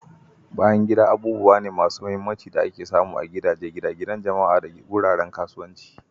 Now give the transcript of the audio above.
Bayan gida abubuwa ne masu mahimmanci da ake samu a gidaje, gine-ginen jama'a, da wuraren kasuwanci.